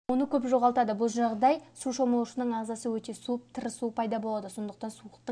оны көп жоғалтады бұл жағдай суда шомылушының ағзасы өте суып тырысу пайда болады сондықтан суықтың